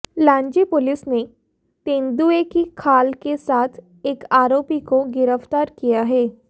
Lanji police ने तेंदुए की खाल के साथ एक आरोपी को गिरफ्तार किया है